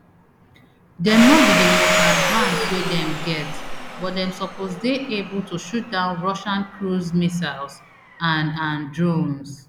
dem no be di most advanced wey dem get but dem suppose dey able to shoot down russian cruise missiles and and drones